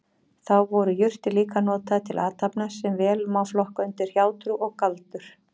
Þá voru jurtir líka notaðar til athafna sem vel má flokka undir hjátrú og galdur.